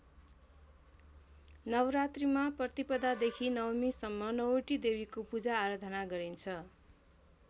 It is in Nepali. नवरात्रिमा प्रतिपदादेखि नवमीसम्म नौवटी देवीको पूजाआराधना गरिन्छ।